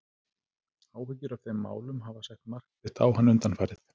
Áhyggjur af þeim málum hafa sett mark sitt á hann undanfarið.